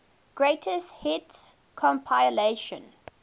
greatest hits compilation